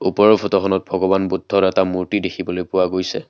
ওপৰৰ ফটোখনত ভগৱান বুদ্ধৰ এটা মূৰ্তি দেখিবলৈ পোৱা গৈছে।